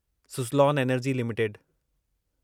Suzlon energy limited